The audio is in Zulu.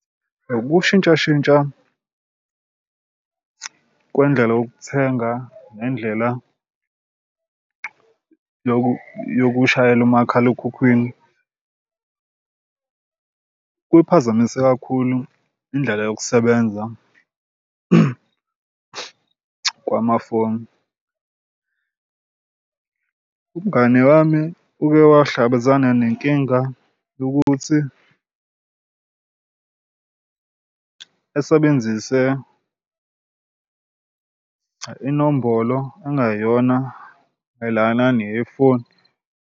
Ukushintshashintsha kwendlela yokuthenga nendlela yokushayela umakhalekhukhwini kuphazamise kakhulu indlela yokusebenza kwamafoni. Umngani wami uke wahlangabezana nenkinga yokuthi esebenzise inombolo engayona mayelana neyefoni.